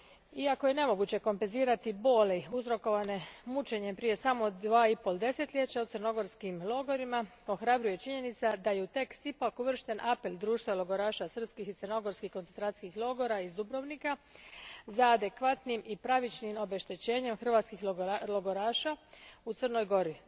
Iako je nemoguće kompenzirati boli uzrokovane mučenjem uzrokovane prije samo dva i pol desetljeća u crnogorskim logorima, ohrabruje činjenica da je u tekst ipak uvršten apel Društva logoroša srpskih i crnogorskih koncentracijskih logora iz Dubrovnika za adekvatnim i pravičnim obeštećenjem hrvatskih logoraša u Crnoj Gori.